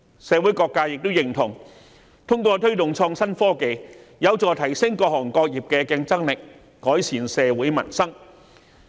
社會各界均認同，推動創新科技將有助提升各行各業的競爭力，藉以改善社會民生。